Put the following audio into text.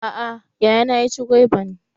A'a yayana ya ci gwaiban